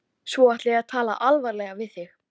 Svo ætla ég að tala alvarlega við þig.